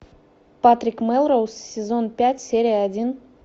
патрик мелроуз сезон пять серия один